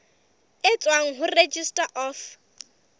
e tswang ho registrar of